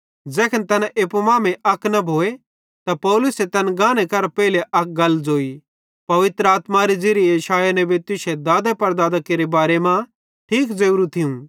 ज़ैखन तैना एप्पू मांमेइं अक न भोए त पौलुसे तैन गाने करां पेइले अक गल ज़ोई पवित्र आत्मारे ज़िरिये यशायाह नबी तुश्शे दादेपड़दादां केरे बारे मां ठीके ज़ोरू थियूं